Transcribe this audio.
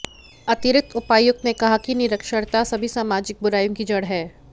अतिरिक्त उपायुक्त ने कहा कि निरक्षरता सभी सामाजिक बुराइयों की जड़ है